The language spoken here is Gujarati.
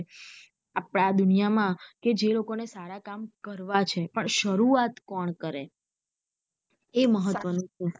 આપડે આ દુનિયા માં કે જે લોકોને સારા કામ કરવા છે પણ શરૂઆત કોણ કરે એ મહત્વ નું.